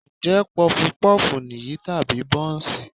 Ṣé Pọfupọ́ọ̀fù nìyí tàbí Bọ́ǹsì?